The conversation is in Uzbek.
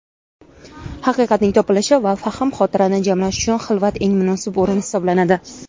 haqiqatning topilishi va fahm-xotirani jamlash uchun xilvat eng munosib o‘rin hisoblanadi.